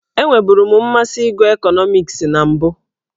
Enweburu m mmasị ịgụ ekọnọmiks na mbụ.